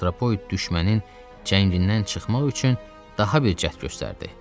Antropoid düşmənin cəngindən çıxmaq üçün daha bir cəhd göstərdi.